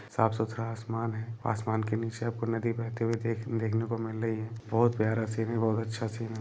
साफ सुथरा आसमान है आसमान के नीचे आपको नदी बेहेते हुए देख-देखने को मिल रही है बहुत प्यारा सीन बहुत अच्छा सीन है।